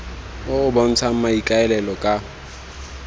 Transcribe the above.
o o bontshang maikaelelo ka